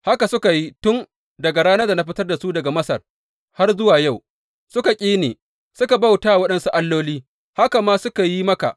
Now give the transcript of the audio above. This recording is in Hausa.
Haka suka yi daga tun daga ranar da na fitar da su daga Masar har zuwa yau, suka ƙi ni, suka bauta wa waɗansu alloli, haka ma suke yi maka.